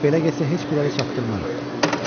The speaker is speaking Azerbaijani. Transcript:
Belə getsə heç birini çatdırmarıq.